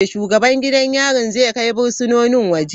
Shugaban gidan yarin zai kai fursunonin waje.